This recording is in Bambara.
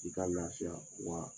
I ka lafiya wa